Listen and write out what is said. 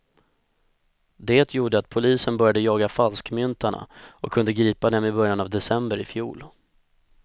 Det gjorde att polisen började jaga falskmyntarna och kunde gripa dem i början av december ifjol.